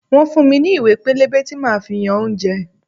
Wọ́n fún mi ní ìwé pélébé tí máa fi yan oúnjẹ.